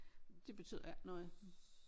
Det betyder ikke noget